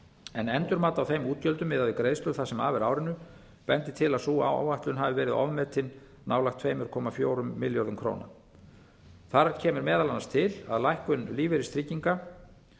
en endurmat á þeim útgjöldum miðað við greiðslur það sem af er árinu bendir til að sú áætlun hafi verið ofmetin nálægt tveimur komma fjórum milljörðum króna þar kemur meðal annars til lækkun lífeyristrygginga